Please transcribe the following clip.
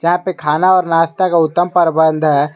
यहा पे खाना और नाश्ता का उत्तम परबंध है।